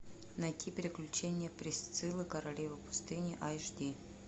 найти приключения присциллы королевы пустыни аш ди